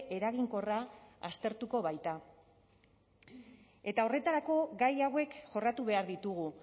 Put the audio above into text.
eraginkorra aztertuko baita eta horretarako gai hauek jorratu behar ditugu